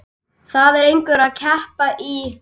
Það er einhver kreppa í